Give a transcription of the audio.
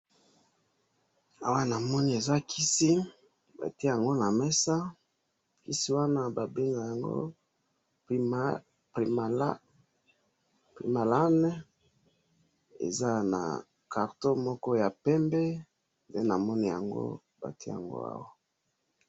awa na moni eza kisi ba tiayango na mesa kisi wana ba benga yango primalan eza carton moko ya pembe